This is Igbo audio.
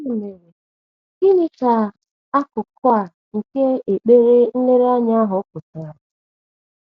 Ya mere, gịnị gịnị ka akụkụ a nke ekpere nlereanya ahụ pụtara?